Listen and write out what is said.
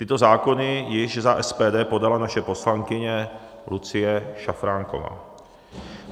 Tyto zákony již za SPD podala naše poslankyně Lucie Šafránková.